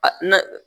n'a